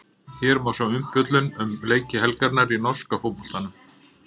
Hér má sjá umfjöllun um leiki helgarinnar í norska boltanum.